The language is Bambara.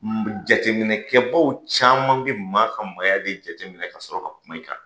Jateminɛkɛbaw caman bɛ maa ka maaya de jateminɛ ka sɔrɔ ka kuma in kan